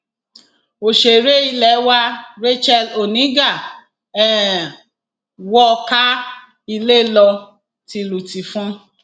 òṣèré ilé wa racheal oníga um wọ káa ilé lọ um tìlùtìfọn